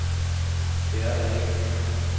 Det er der ikke mere.